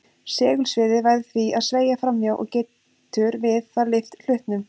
Segulsviðið verður því að sveigja fram hjá og getur við það lyft hlutnum.